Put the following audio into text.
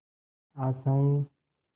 आशाएं